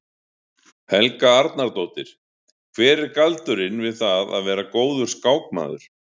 Helga Arnardóttir: Hver er galdurinn við það að vera góður skákmaður?